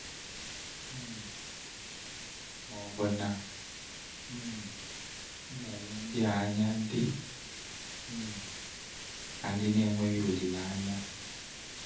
um Ma ọ̀ bụ na um m na-ele ndị a anya dị um ka ndị enweghị olileanya?